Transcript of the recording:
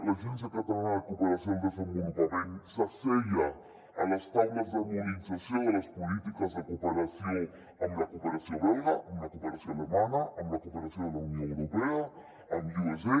l’agència catalana de cooperació al desenvolupament s’asseia a les taules d’harmonització de les polítiques de cooperació amb la cooperació belga amb la cooperació alemanya amb la cooperació de la unió europea amb usa